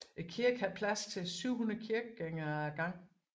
Kirken har plads til 700 kirkegængere ad gangen